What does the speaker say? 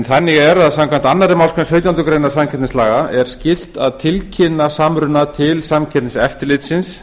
þannig er að samkvæmt annarri málsgrein sautjándu grein samkeppnislaga er skylt að tilkynna samruna til samkeppniseftirlitsins